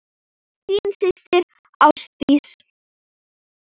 Þín systir Ásdís.